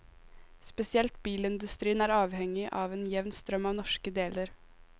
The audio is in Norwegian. Spesielt bilindustrien er avhengig av en jevn strøm av norske deler.